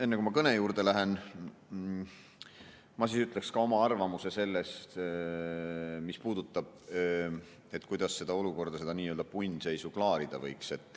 Enne kui ma kõne juurde lähen, ütleksin ka oma arvamuse sellest, kuidas seda olukorda, seda nii-öelda punnseisu klaarida võiks.